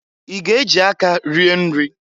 I ga-ejị aka rie nri?